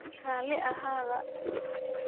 Rali axadha.